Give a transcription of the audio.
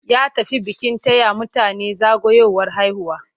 Ya tafi bikin taya mutane zagayowar haihuwa.